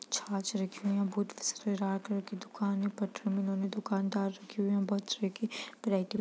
छाछ रखी हैं बहुत दुकान है पर उन्होंने दुकानदार रखी हुई है --